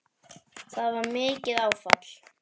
Það var mikið áfall.